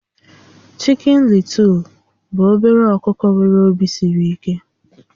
Chikin Lịtụl bụ obere ọkụkọ nwéré òbì siri íké